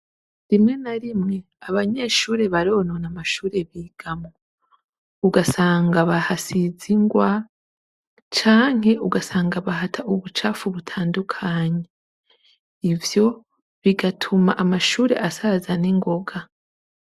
Rimwe na rimwe ,abanyeshure baronona amashure bigamwo. Ugasanga bahasiz’ingwa, canke ugasanga bahata ubucafu butandukanye. Ivyo ,bigatuma amashure asaza ningoga.